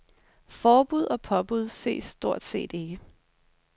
Forbud og påbud ses stort set ikke.